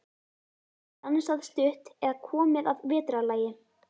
Stansað stutt eða komið að vetrarlagi.